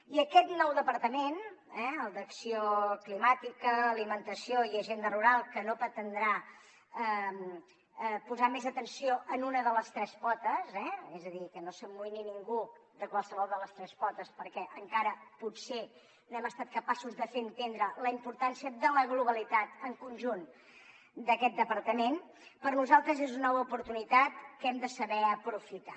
i aquest nou departament eh el d’acció climàtica alimentació i agenda rural que no pretendrà posar més atenció en una de les tres potes eh és a dir que no s’amoïni ningú de qualsevol de les tres potes perquè encara potser no hem estat capaços de fer entendre la importància de la globalitat en conjunt d’aquest departament per nosaltres és una nova oportunitat que hem de saber aprofitar